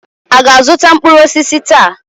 A ga-azụta mkpụrụ osisi taa?